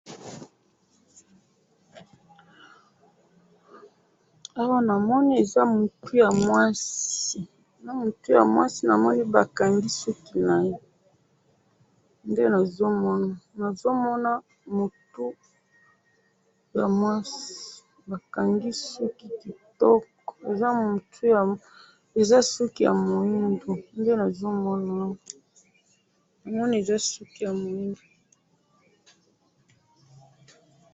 awa namoni eza mutu ya mwasi na mutu ya mwasi namoni bakangi suki naye nde nazo mona ,nazo mona mutu ya mwasi bakangi suki kitoko eza mutu ya ,eza suki ya mwindu nde namoni, eza suki ya mwindu